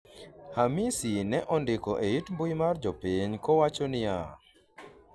Hamisi ne ondiko e it mbui mar jopiny kowacho niya,